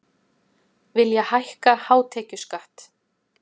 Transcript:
Vilja hækka hátekjuskatt